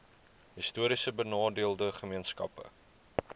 histories benadeelde gemeenskappe